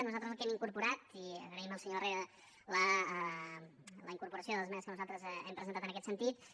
nosaltres el que hi hem incorporat i agraïm al senyor herrera la incorporació de les esmenes que nosaltres hem presentat en aquest sentit